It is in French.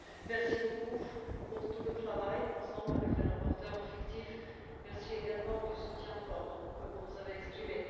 Merci beaucoup pour tout le travail accompli avec les rapporteurs fictifs, merci également du soutien fort que vous nous avez exprimé.